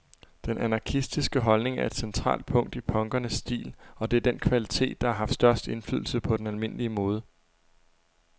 Den anarkistiske holdning er et centralt punkt i punkernes stil, og det er den kvalitet, der har haft størst indflydelse på den almindelige mode.